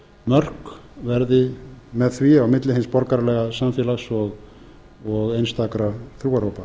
mörk verði með því á milli hins borgaralega samfélags og einstakra trúarhópa